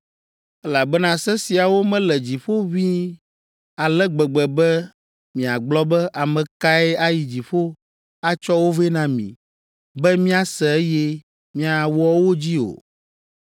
elabena se siawo mele dziƒo ʋĩi ale gbegbe be miagblɔ be, ‘Ame kae ayi dziƒo’ atsɔ wo vɛ na mí, be míase eye miawɔ wo dzi o.